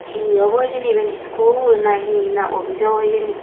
hi abow hijeni iben iskul na hi na opis abaw hijeni.